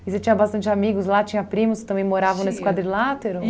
E você tinha bastante amigos lá, tinha primos que também moravam nesse quadrilátero?